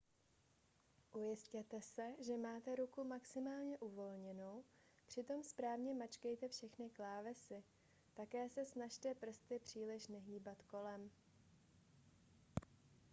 ujistěte se že máte ruku maximálně uvolněnou přitom správně mačkejte všechny klávesy také se snažte prsty příliš nehýbat kolem